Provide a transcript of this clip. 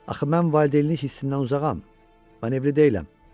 Axı mən valideynlik hissindən uzağam, evli deyiləm.